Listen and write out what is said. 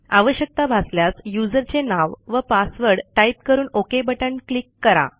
आवश्यकता भासल्यास यूझर चे नाव व पासवर्ड टाईप करून ओके बटण क्लिक करा